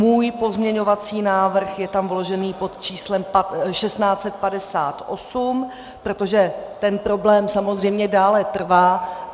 Můj pozměňovací návrh je tam vložený pod číslem 1658, protože ten problém samozřejmě dále trvá.